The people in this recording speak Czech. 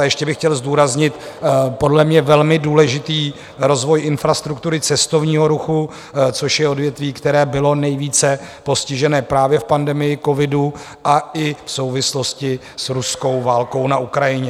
A ještě bych chtěl zdůraznit podle mě velmi důležitý rozvoj infrastruktury cestovního ruchu, což je odvětví, které bylo nejvíce postižené právě v pandemii covidu a i v souvislosti s ruskou válkou na Ukrajině.